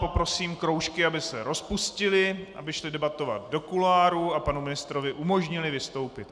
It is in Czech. Poprosím kroužky, aby se rozpustily, aby šly debatovat do kuloárů a panu ministrovi umožnily vystoupit.